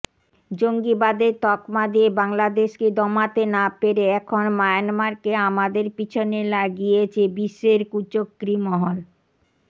জঙ্গিবাদের তকমা দিয়ে বাংলাদেশকে দমাতে না পেরে এখন মায়ানমারকে আমাদের পিছনে লাগিয়েছে বিশ্বের কুচক্রী মহল